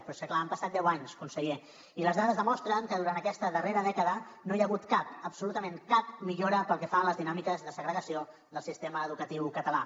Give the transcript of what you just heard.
però és que clar han passat deu anys conseller i les dades demostren que durant aquesta darrera dècada no hi ha hagut cap absolutament cap millora pel que fa a les dinàmiques de segregació del sistema educatiu català